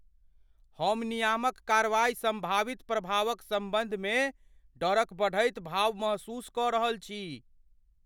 हम नियामक कार्रवाईक सम्भावित प्रभावक सम्बन्धमे डरक बढ़ैत भाव महसूस कऽ रहल छी।